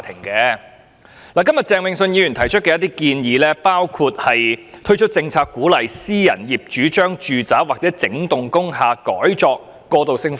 鄭泳舜議員今天提出若干建議，包括"推出政策鼓勵私人業主將住宅或整幢工廈改作過渡性房屋"。